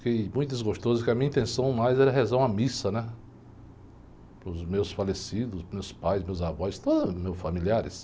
Fiquei muito desgostoso, porque a minha intenção mais era rezar uma missa, né, para os meus falecidos, meus pais, meus avós, todos os meus familiares.